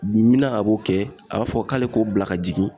Mi mina a b'o kɛ a b'a fɔ k'ale k'o bila ka jigin